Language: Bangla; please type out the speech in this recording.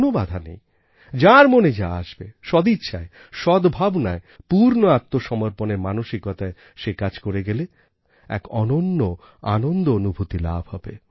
কোনও বাধা নেই যার মনে যা আসবে সদিচ্ছায় সদ্ভাবনায় পূর্ণ আত্মসমর্পণের মানসিকতায় সে কাজ করে গেলে এক অনন্য আনন্দ অনুভূতি লাভ হবে